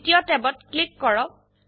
দ্বিতীয় ট্যাবত ক্লিক কৰক